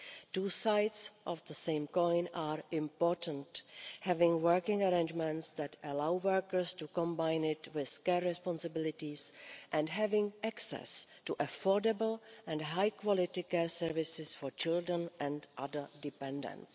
Two sides of the same coin are important having working arrangements that allow workers to combine it with care responsibilities and having access to affordable and high-quality care services for children and other dependents.